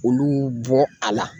Olu bɔ a la.